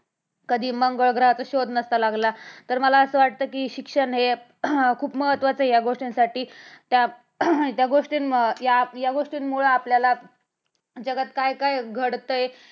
कधी मंगळ ग्रहाचा शोध नसता लागला. तर मला असं वाटतं की शिक्षण हे अह खूप महत्वाचे आहे अह या गोष्टींसाठी त्या गोष्टी या गोष्टीमुळ आपल्याला जगात काय - काय घडतंय.